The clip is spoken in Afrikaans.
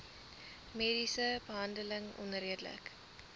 mediese behandeling onredelik